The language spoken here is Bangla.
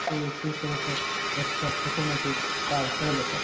এই চিত্রটো একটা ছোটো মতো পার্ক -এর বটে ।